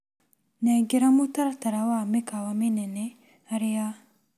Nengera mũtaratara wa mĩkawa mĩnene harĩ a.